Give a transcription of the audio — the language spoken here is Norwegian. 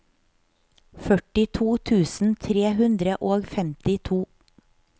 førtito tusen tre hundre og femtito